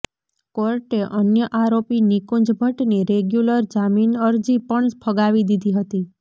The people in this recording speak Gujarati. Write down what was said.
કોર્ટે અન્ય આરોપી નિકુંજ ભટ્ટની રેગ્યુલર જામીનઅરજી પણ ફગાવી દીધી હતી